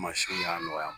Mansinw y'a nɔgɔya